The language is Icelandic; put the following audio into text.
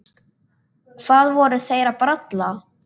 Hvað voru þeir að bralla?